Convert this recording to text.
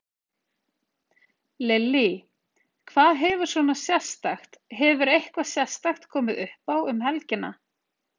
Lillý: Hvað hefur svona sérstakt, hefur eitthvað sérstakt komið uppá um helgina?